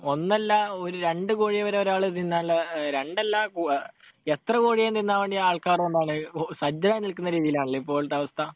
ഒന്നല്ല, ഒരു രണ്ടു കോഴിയെ വരെ ഒരാൾ തിന്നാനുള്ള, രണ്ടല്ല, എത്ര കോഴിയേയും തിന്നാൻ വേണ്ടി ആൾക്കാർ എന്താണ് സജ്ജരായി നിൽക്കുന്ന രീതിയിലാണല്ലേ ഇപ്പോഴത്തെ അവസ്ഥ?